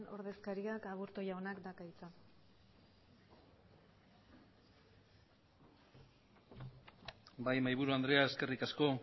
ordezkariak aburtu jaunak dauka hitza bai mahaiburu andrea eskerrik asko